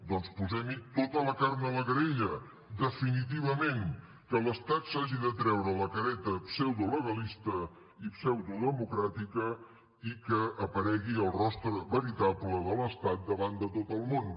doncs posem hi tota la carn a la graella definitivament que l’estat s’hagi de treure la careta pseudolegalista i pseudodemocràtica i que aparegui el rostre veritable de l’estat davant de tot el món